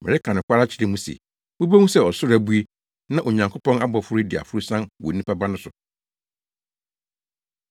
Mereka nokware akyerɛ mo se, mubehu sɛ ɔsoro abue na Onyankopɔn abɔfo redi aforosian wɔ Onipa Ba no so.”